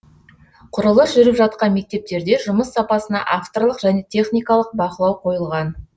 құрылыс жүріп жатқан мектептерде жұмыс сапасына авторлық және техникалық бақылау қойылған